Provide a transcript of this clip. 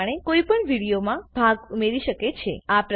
આ પ્રમાણે કોઈપણ વિડીયોમાં ભાગ ઉમેરી શકે છે